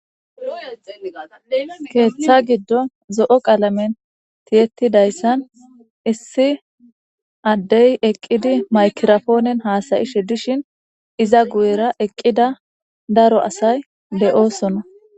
Keeththa giddo zo'o qalamen tiyettidayssan issi addey eqqidi maykirafoonen haasayi shiddishin iza guyera eqqida daro asay de'oosonna